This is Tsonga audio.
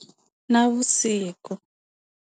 Navusiku.